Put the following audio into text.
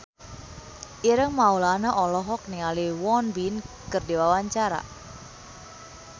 Ireng Maulana olohok ningali Won Bin keur diwawancara